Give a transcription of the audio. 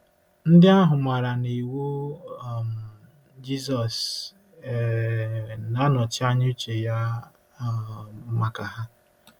Ndị ahụ maara na iwu um Jizọs um na-anọchi anya uche ya um maka ha.